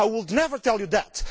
I would never tell you that.